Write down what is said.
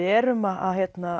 erum að